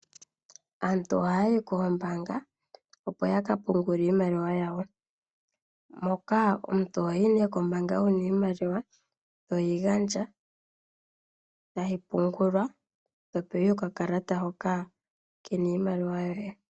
Aantu ohaya yi koombanga opo yaka pungule iimaliwa yawo. Moka omuntu ohoyi kombanga wuna iimaliwa toyi gandja tayi pungulwa to pewa okakalata hoka kena iimaliwa yoye.